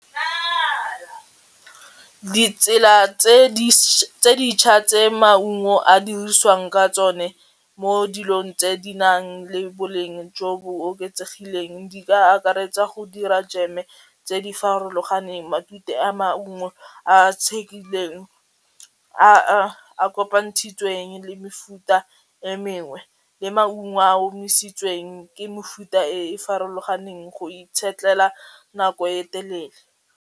Ditsela tse di tse maungo a dirisiwang ka tsone mo dilong tse di nang le boleng jo bo oketsegileng di ka akaretsa go dira jeme tse di farologaneng, matute a maungo a a tshekileng a a a kopantshitsweng le mefuta e mengwe, le maungo a a omisitsweng ke mefuta e farologaneng go itshetlela nako e telele.